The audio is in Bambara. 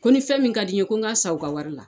Ko ni fɛn min ka di n ye ko n k'a san u ka wari la.